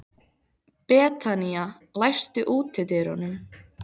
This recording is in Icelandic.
Betanía, læstu útidyrunum.